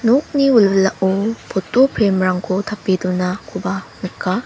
nokni wilwilao poto prem rangko tape donakoba nika.